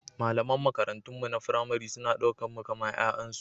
Malaman makarantunmu na firamare suna ɗaukar mu kamar 'ya'yansu.